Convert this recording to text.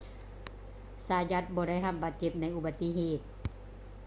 ຊາຢັດ zayat ບໍ່ໄດ້ຮັບບາດເຈັບໃນອຸປະຕິເຫດ